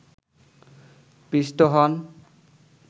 পিষ্ট হন